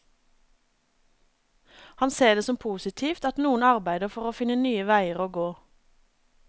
Han ser det som positivt at noen arbeider for å finne nye veier å gå.